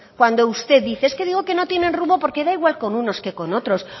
cuando usted dice es que digo que no tienen rumbo porque da igual con unos que con otros